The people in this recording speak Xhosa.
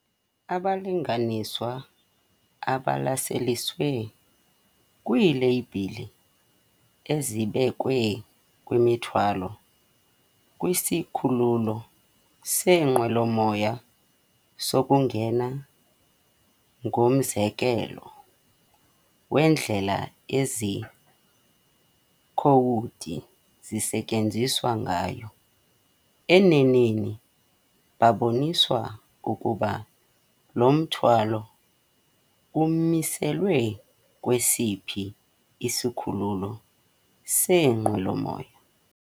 Abalinganiswa abalaseliswe kwiileyibhile ezibekwe kwimithwalo kwisikhululo seenqwelomoya sokungena ngumzekelo wendlela ezi khowudi zisetyenziswa ngayo, eneneni, babonisa ukuba lo mthwalo umiselwe kwesiphi isikhululo seenqwelomoya.